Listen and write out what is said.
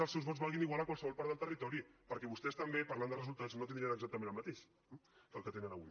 els seus vots valguin igual a qualsevol part del territori perquè vostès també parlant de resultats no tindrien exactament el mateix que el que tenen avui